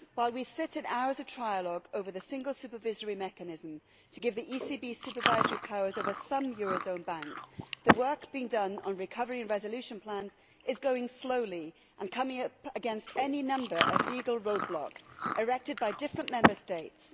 While we sit in hours of trialogue over the single supervisory mechanism to give the ECB supervisory powers over some eurozone banks, the work being done on recovery and resolution plans is going slowly and coming up against any number of legal roadblocks erected by different Member States.